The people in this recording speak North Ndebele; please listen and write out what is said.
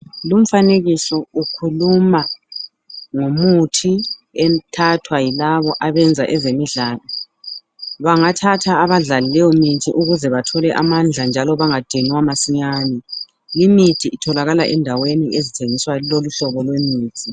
Lumfanekiso ukhuluma ngomuthi ethathwa yilabo abenza ezemidlalo. Bangathatha abadlali leyomithi ukuze bathole amandla njalo bengadinwa masinyani. Imithi itholakala endaweni ezithengiswa loluhlobo lwemithi.